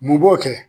Mun b'o kɛ